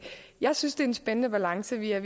jeg synes det er en spændende balance vi er